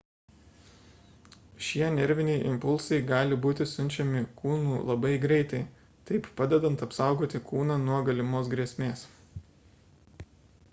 šie nerviniai impulsai gali būti siunčiami kūnu labai greitai taip padedant apsaugoti kūną nuo galimos grėsmės